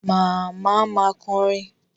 Màmá ma kọrin.